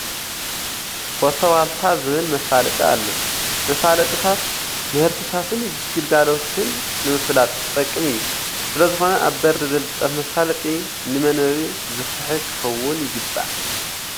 ፎቶ ዋልታ ዝብል መፋለጢ ኣሎ፡፡ መፋለጥታት ምህርትታትን ግልጋሎትን ንምፍላጥ ዝጠቅም እዩ፡፡ ስለዝኾነ ኣብ በሪ ዝልጠፍ መፋለጢ ንመንበቢ ዝስሕብ ኽኸውን ይግባእ፡፡